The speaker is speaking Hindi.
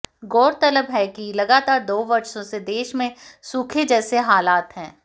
गौरतलब है कि लगातार दो वर्षों से देश में सूखे जैसे हालात हैं